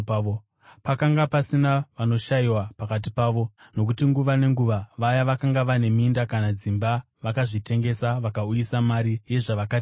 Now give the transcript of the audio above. Pakanga pasina vanoshayiwa pakati pavo. Nokuti nguva nenguva vaya vakanga vane minda kana dzimba vakazvitengesa, vakauyisa mari yezvavakatengesa